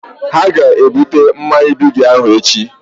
Ha ga ebute mmanya Bigi ahụ echi